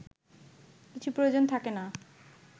কিছু প্রয়োজন থাকে না